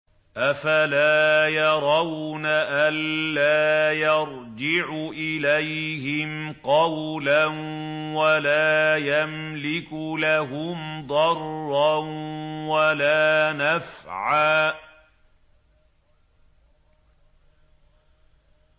أَفَلَا يَرَوْنَ أَلَّا يَرْجِعُ إِلَيْهِمْ قَوْلًا وَلَا يَمْلِكُ لَهُمْ ضَرًّا وَلَا نَفْعًا